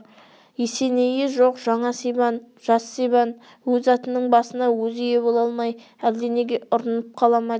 есенейі жоқ жаңа сибан жас сибан өз атының басына өзі ие бола алмай әлденеге ұрынып қала ма деген